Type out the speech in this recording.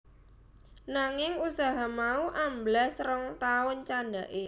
Nanging usaha mau amblas rong taun candhaké